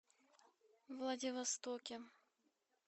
владивостоке